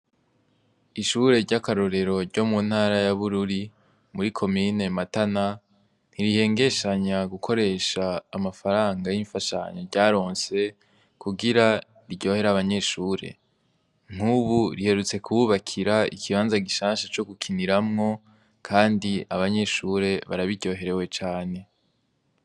Ishure ry'akarorero ryo mu ntara ya bururi muri ko mine matana ntirihengeshanya gukoresha amafaranga y'imfashanyo ryaronse kugira ryohera abanyeshure ntubu riherutse kuwubakira ikibanza gishansha co gukiniramwo, kandi abanyeshure barabiryoherewe cane.